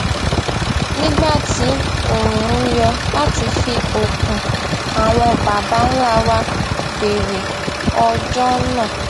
nígbà tí oòrùn yọ láti fi okun àwọn baba ńlá wa bèrè ọjó náà